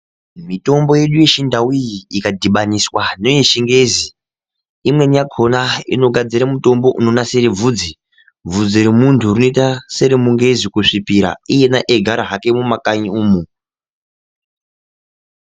Mitombo yedu yechindau iyi ikadhibaniswa neye chingezi imweni yakona inogadzire mitombo inogadzire bvudzi. Bvudzi remuntu rinoita seremungezi kusvipira iyena hake eyigara mumakanyi umwu.